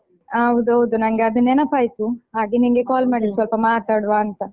ಹಾ ಹೌದು ಹೌದು ನಂಗೆ ಅದು ನೆನಪಾಯಿತು ಹಾಗೆ ನಿಂಗೆ call ಮಾಡಿದ್ದು ಸ್ವಲ್ಪ ಮಾತಾಡ್ವಾ ಅಂತ.